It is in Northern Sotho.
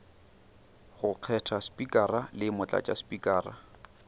go kgetha spikara le motlatšaspikara